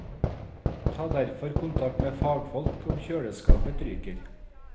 Ta derfor kontakt med fagfolk om kjøleskapet ryker.